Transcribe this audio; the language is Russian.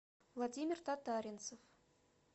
владимир татаринцев